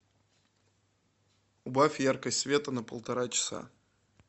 убавь яркость света на полтора часа